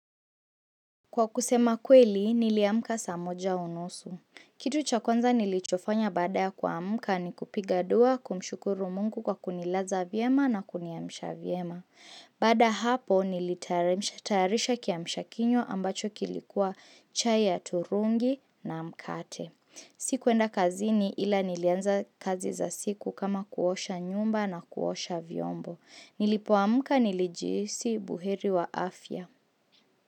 Kwa kusema kweli, niliamka saa moja unusu. Kitu cha kwanza nilichofanya baada ya kuamka ni kupiga dua kumshukuru mungu kwa kunilaza vyema na kuniamsha vyema. Baada ya hapo, nilitayarisha kiamshakinywa ambacho kilikuwa chai ya turungi na mkate. Sikuenda kazini ila nilianza kazi za siku kama kuosha nyumba na kuosha vyombo. Nilipoamka nilijihisi buheri wa afya.